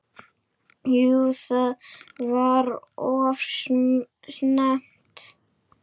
Jú það var of snemmt.